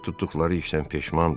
Tutduqları işdən peşmandırlar.